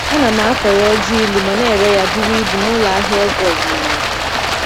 Ana m akọrọ ọjị ilu ma na-ere ya buru ibu n'ụlọ ahịa ọgwụ ọdịnala.